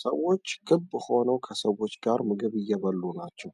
ሰዎች ክብ ሆነው ከሰዎች ጋር ምግብ እየበሉ ናቸው።